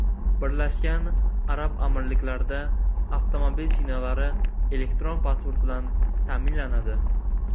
Birlashgan Arab Amirliklarida avtomobil shinalari elektron pasport bilan ta’minlanadi.